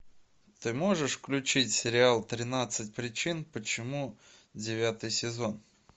ты можешь включить сериал тринадцать причин почему девятый сезон